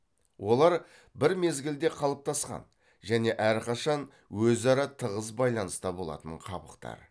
олар бір мезгілде қалыптасқан және әрқашан өзара тығыз байланыста болатын қабықтар